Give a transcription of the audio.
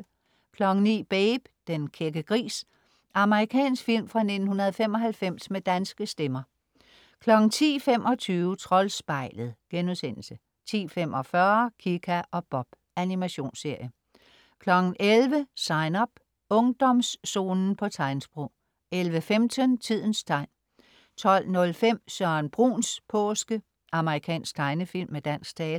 09.00 Babe, den kække gris. Amerikansk film fra 1995 med danske stemmer 10.25 Troldspejlet* 10.45 Kika og Bob. Animationsserie 11.00 Sign Up. Ungdomszonen på tegnsprog 11.15 Tidens tegn 12.05 Søren Bruns påske. Amerikansk tegnefilm med dansk tale